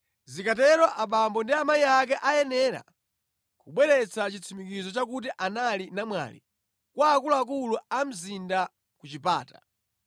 zikatero abambo ndi amayi ake ayenera kubweretsa chitsimikizo chakuti anali namwali kwa akuluakulu a mzinda ku chipata.